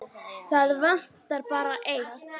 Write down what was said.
Það vantar bara eitt.